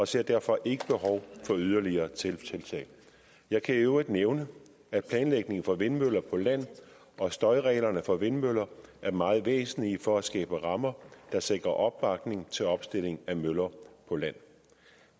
ser derfor ikke behov for yderligere tiltag jeg kan i øvrigt nævne at planlægningen for vindmøller på land og støjreglerne for vindmøller er meget væsentlige for at skabe rammer der sikrer opbakning til opstilling af møller på land